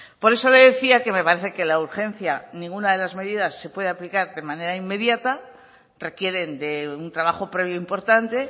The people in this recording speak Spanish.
por eso le decía que me parece que la urgencia ninguna de las medidas se puede aplicar de manera inmediata requieren de un trabajo previo importante